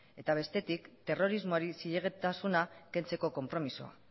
eta bestetik terrorismoari zilegitasuna kentzeko konpromisoa